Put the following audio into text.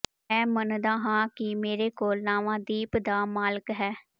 ਮੈਂ ਮੰਨਦਾ ਹਾਂ ਕਿ ਮੇਰੇ ਕੋਲ ਲਾਵਾ ਦੀਪ ਦਾ ਮਾਲਕ ਹੈ